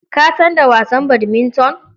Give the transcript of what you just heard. Ka san da wasan badminton?